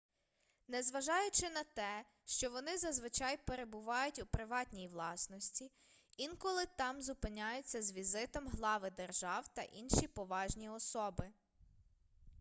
незважаючи на те що вони зазвичай перебувають у приватній власності інколи там зупиняються з візитом глави держав та інші поважні особи